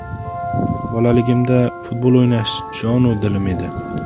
Bolaligimda futbol o‘ynash jon-u dilim edi.